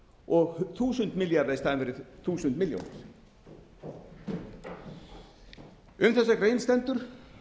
og þúsund milljarða í staðinn fyrir þúsund milljónir um þessa grein stendur